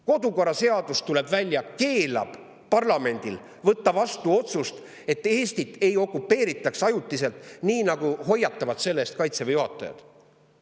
Kodukorraseadus, tuleb välja, keelab parlamendil võtta vastu otsust, et Eestit ei okupeeritaks ajutiselt mitte, kuigi sellise võimaluse eest hoiatavad Kaitseväe juhatajad.